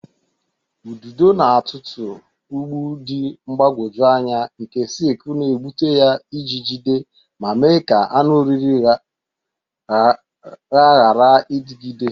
Ududo na-atụtụ ụgbụ dị mgbagwoju anya nke silk na-egbute ya iji jide ma mee ka anụ oriri ha ghara idinagide.